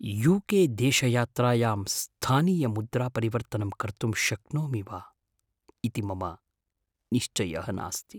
You K देशयात्रायां स्थानीयमुद्रापरिवर्तनं कर्तुं शक्नोमि वा इति मम निश्चयः नास्ति।